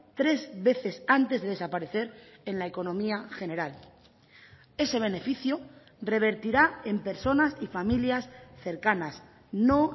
tres veces antes de desaparecer en la economía general ese beneficio revertirá en personas y familias cercanas no